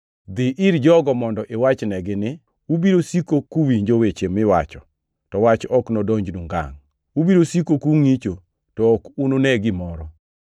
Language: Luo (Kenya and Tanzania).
“ ‘Dhi ir jogo mondo iwachnegi ni, “Ubiro siko kuwinjo weche miwacho, to wach ok nodonjnu ngangʼ; ubiro siko kungʼicho, to ok unune gimoro.”